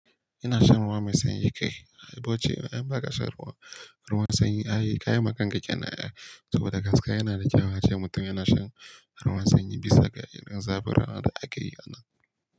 Ina shan ruwa mai sanyi kai in ba ka shan ruwa, ruwan sanyi ayi kayi ma kanka kenan ai to da gaske yana da kyau ace mutum yana shan ruwan sanyi bisa ga irin zaburawa da ake yi a nan.